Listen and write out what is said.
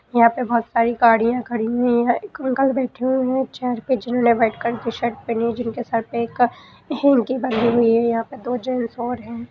यहाँ पे बहुत सारी गाड़ियां खड़ी हुई हैं एक अंकल बैठे हुए हैं चेयर पे जिन्होंने वाइट कलर की शर्ट पहनी है जिनके सर पे एक हैनकी बंधी हुई है यहाँ पे दो जेंट्स और हैं।